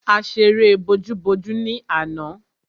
A ṣeré bojú-bojú ni àná.